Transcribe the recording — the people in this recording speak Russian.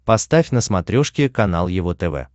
поставь на смотрешке канал его тв